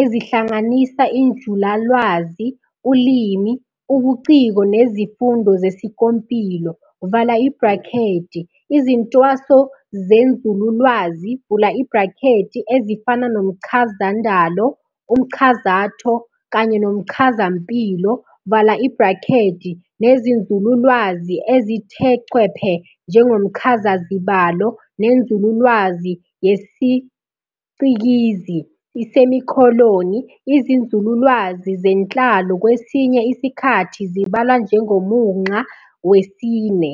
ezihlanganisa injulalwazi, uLimi, ubuciko nezifundo zesikompilo, izintwaso zenzululwazi, ezifana nomchazandalo, umchazatho, kanye nomchazampilo, nezinzululwazi ezithe chwephe njengomchazazibalo nenzululwazi yesicikizi, izinzululwazi zenhlalo kwesinye isikhathi zibalwa njengomunxa wesine.